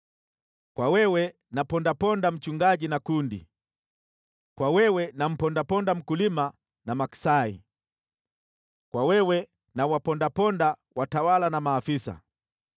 kwa wewe nampondaponda mchungaji na kundi, kwa wewe nampondaponda mkulima na maksai, kwa wewe nawapondaponda watawala na maafisa.